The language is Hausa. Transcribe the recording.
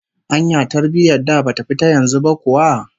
Anya tarbiyyar da bata fi ta yanzu ba kuwa?